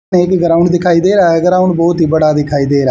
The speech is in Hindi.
एक ही ग्राउंड दिखाई दे रहा है ग्राउंड बहोत ही बड़ा दिखाई दे रहा है।